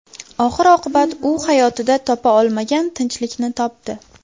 Oxir-oqibat u hayotida topa olmagan tinchlikni topdi.